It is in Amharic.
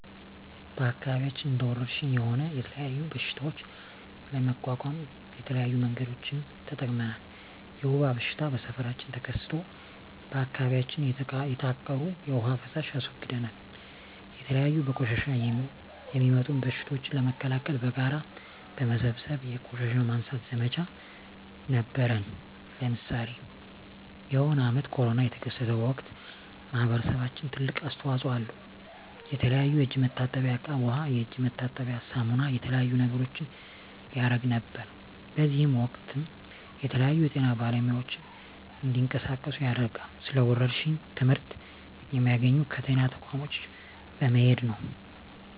በአከባቢያችን እንደ ወረርሽኝ ሆነ የተለያዩ በሽታዎች ለመቋቋም የተለያዩ መንገዶችን ተጠቅመናል የወባ በሽታ በሠፈራችን ተከስቶ በአካባቢያችን የተቃሩ የዉሃ ፋሳሽ አስወግደናል የተለያዩ በቆሻሻ የሚጡም በሽቶችን ለመከላከል በጋራ በመሠብሰብ የቆሻሻ ማንሳት ዘመቻ ነበረነ ለምሳሌ የሆነ አመት ኮርና የተከሰተ ወቅት ማህበረሰባችን ትልቅ አስተዋጽኦ አለው የተለያዩ የእጅ መታጠብያ እቃ ዉሃ የእጅ መታጠቢያ ሳሙና የተለያዩ ነገሮችን ያረግ ነበር በእዚህም ወቅትም የተለያዩ የጤና ባለሙያዎች እንዲቀሳቀሱ ያደርጋል ስለ ወረርሽኝ ትመህርት የሚያገኘው ከጤና ተቋሞች በመሄድ ነው